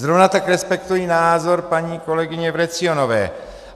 Zrovna tak respektuji názor paní kolegyně Vrecionové.